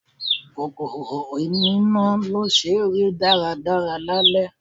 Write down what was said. Kòkòrò oní ná ló ṣe rí dára dára lálẹ́.